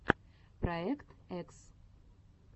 проект экс